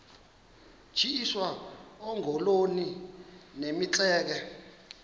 tyiswa oogolomi nemitseke